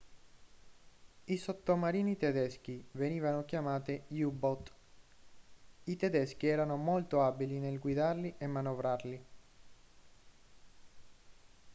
i sottomarini tedeschi venivano chiamati u-boot i tedeschi erano molto abili nel guidarli e manovrarli